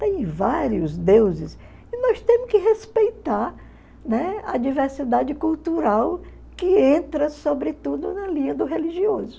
Tem vários deuses e nós temos que respeitar, né, a diversidade cultural que entra, sobretudo, na linha do religioso.